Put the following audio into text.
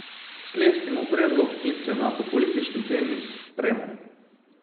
Sklestimo predlog in se na populistični temi spremo?